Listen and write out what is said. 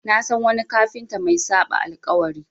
Na san wani kafinta mai saɓa alƙawari.